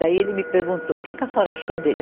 Daí ele me perguntou, e o que que a senhora achou dele?